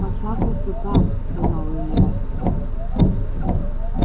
поцапался там сказал илья